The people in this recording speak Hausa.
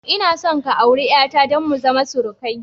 Ina son ka auri 'yata don mu zama surukai